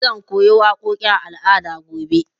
Zan koyo waƙoƙin al'ada gobe.